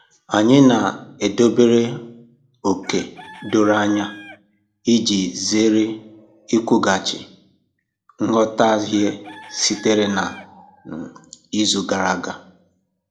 Anyị na-edobere ókè doro anya iji zere ikwughachi nghọtahie sitere na um izu gara aga.